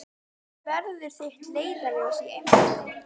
Hvað verður þitt leiðarljós í embætti?